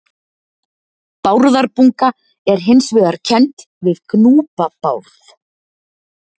Bárðarbunga er hins vegar kennd við Gnúpa-Bárð.